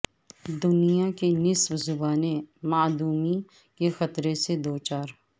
دنیا کی نصف زبانیں معدومی کے خطرے سے دوچار